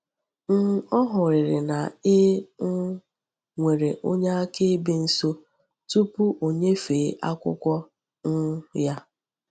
um Ọ hụrịrị na e um nwere onye akaebe nso tupu o nyefee akwụkwọ um ya.